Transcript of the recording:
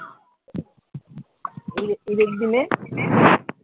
ঈদ এর দিনে?